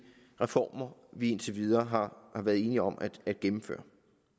reformer vi indtil videre har været enige om at gennemføre